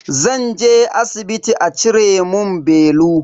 Zan je asibiti a cire mun belu.